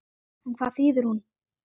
En hvað þýðir hún?